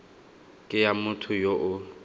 ke ya motho yo o